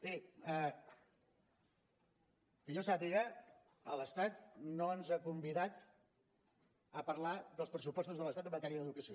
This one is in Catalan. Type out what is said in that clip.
miri que jo sàpiga l’estat no ens ha convidat a parlar dels pressupostos de l’estat en matèria d’educació